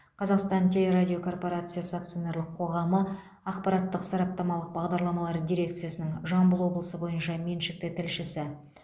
қазақстан телерадиокорпорациясы акционерлік қоғамы ақпараттық сараптамалық бағдарламалар дирекциясының жамбыл облысы бойынша меншікті тілшісі